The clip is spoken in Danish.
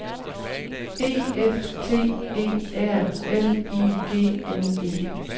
E F T E R L I G N E